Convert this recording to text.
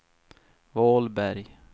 Vålberg